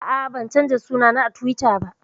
A'a, ban canza suna na a Tiwita ba